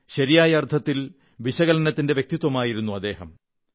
ശരിയായ അർഥത്തിൽ വിശകലനത്തിന്റെ വ്യക്തിത്വമായിരുന്നു അദ്ദേഹം